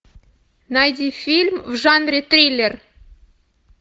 найди фильм в жанре триллер